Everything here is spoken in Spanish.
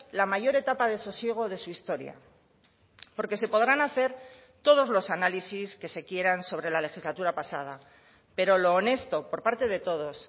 la mayor etapa de sosiego de su historia porque se podrán hacer todos los análisis que se quieran sobre la legislatura pasada pero lo honesto por parte de todos